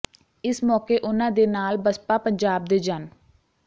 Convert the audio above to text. ਇਸ ਮੌਕੇ ਉਨ੍ਹਾਂ ਦੇ ਨਾਲ ਬਸਪਾ ਪੰਜਾਬ ਦੇ ਜਨ